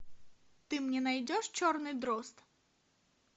ты мне найдешь черный дрозд